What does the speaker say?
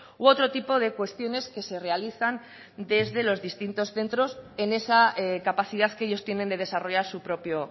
u otro tipo de cuestiones que se realizan desde los distintos centros en esa capacidad que ellos tienen de desarrollar su propio